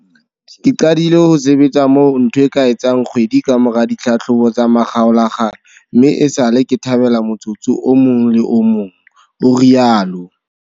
Ke qadile ho sebetsa moo ntho e ka etsang kgwedi kamora ditlhahlobo tsa makgaolakgang mme esale ke thabela motsotso o mong le o mong, o rialo.